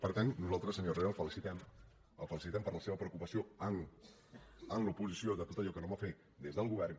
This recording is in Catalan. per tant nosaltres senyor herrera el felicitem el felicitem per la seva preocupació en l’oposició per tot allò que no va fer des del govern